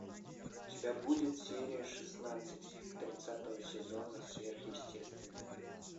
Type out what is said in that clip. у тебя будет серия шестнадцать тридцатого сезона сверхъестественное